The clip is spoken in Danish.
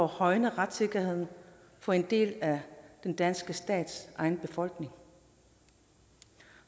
højne retssikkerheden for en del af den danske stats egen befolkning